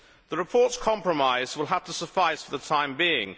The report's compromise will have to suffice for the time being